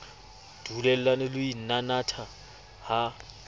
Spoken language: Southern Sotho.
dulellane le ho inanatha ha